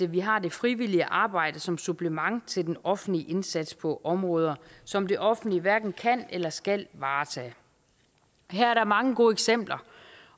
vi har det frivillige arbejde som supplement til den offentlige indsats på områder som det offentlige hverken kan eller skal varetage her er der mange gode eksempler